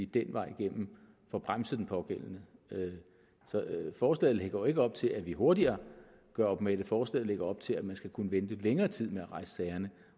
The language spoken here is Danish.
den vej får bremset den pågældende så forslaget lægger jo ikke op til at vi hurtigere gør op med det forslaget lægger op til at man skal kunne vente længere tid med at rejse sagerne